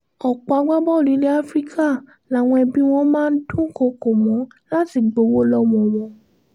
ọ̀pọ̀ agbábọ́ọ̀lù ilẹ̀ áfíríkà làwọn ẹbí wọn máa dúnkọ́kọ́ mọ́ láti gbowó lọ́wọ́ wọn